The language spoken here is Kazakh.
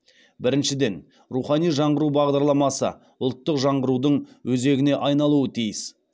біріншіден рухани жаңғыру бағдарламасы ұлттық жаңғырудың өзегіне айналуы тиіс